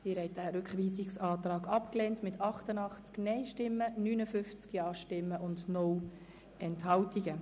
Sie haben diesen Rückweisungsantrag abgelehnt mit 88 Nein- zu 59 Ja-Stimmen ohne Enthaltungen.